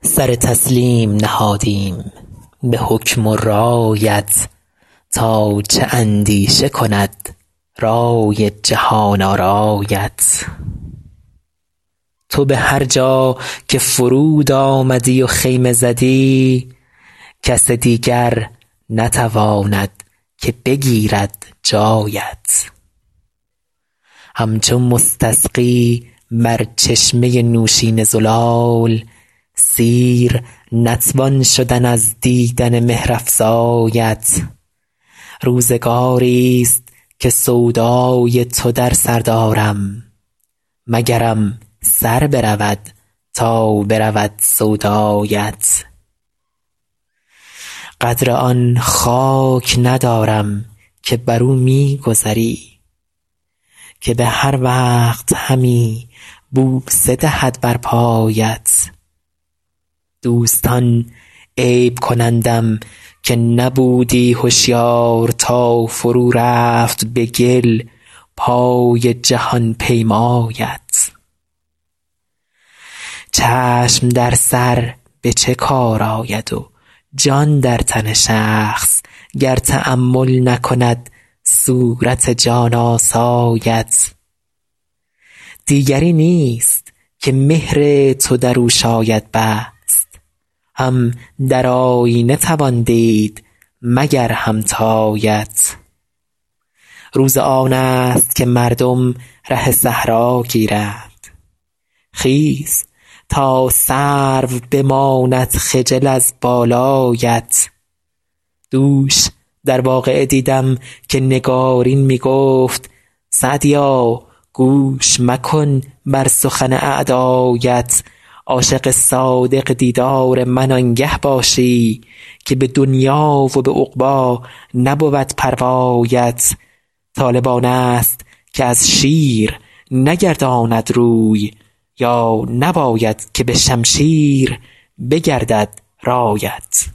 سر تسلیم نهادیم به حکم و رایت تا چه اندیشه کند رای جهان آرایت تو به هر جا که فرود آمدی و خیمه زدی کس دیگر نتواند که بگیرد جایت همچو مستسقی بر چشمه نوشین زلال سیر نتوان شدن از دیدن مهرافزایت روزگاریست که سودای تو در سر دارم مگرم سر برود تا برود سودایت قدر آن خاک ندارم که بر او می گذری که به هر وقت همی بوسه دهد بر پایت دوستان عیب کنندم که نبودی هشیار تا فرو رفت به گل پای جهان پیمایت چشم در سر به چه کار آید و جان در تن شخص گر تأمل نکند صورت جان آسایت دیگری نیست که مهر تو در او شاید بست هم در آیینه توان دید مگر همتایت روز آن است که مردم ره صحرا گیرند خیز تا سرو بماند خجل از بالایت دوش در واقعه دیدم که نگارین می گفت سعدیا گوش مکن بر سخن اعدایت عاشق صادق دیدار من آنگه باشی که به دنیا و به عقبی نبود پروایت طالب آن است که از شیر نگرداند روی یا نباید که به شمشیر بگردد رایت